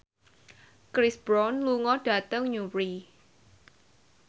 Chris Brown lunga dhateng Newry